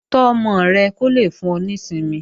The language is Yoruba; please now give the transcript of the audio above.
Tọ́ ọmọ rẹ kó lè fún ọ ní ìsinmi